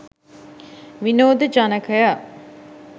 විනෝද ජනකය.